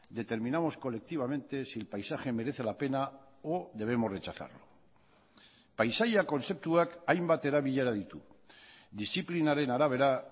determinamos colectivamente si el paisaje merece la pena o debemos rechazarlo paisaia kontzeptuak hainbat erabilera ditu diziplinaren arabera